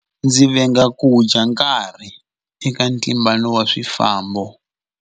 Ndzi venga ku dya nkarhi eka ntlimbano wa swifambo.